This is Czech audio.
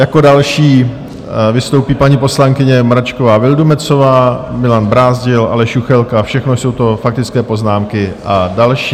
Jako další vystoupí paní poslankyně Mračková Vildumetzová, Milan Brázdil, Aleš Juchelka, všechno jsou to faktické poznámky a další.